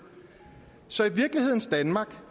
så i virkelighedens danmark